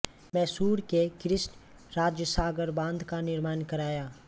मैसूर के कृष्ण राजसागर बांध का निर्माण कराया